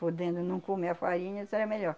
Podendo não comer a farinha, seria melhor.